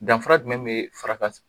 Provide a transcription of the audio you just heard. Danfara jumɛn bɛ faraka